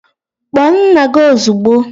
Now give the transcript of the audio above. Kpọọ nna gị ozugbo!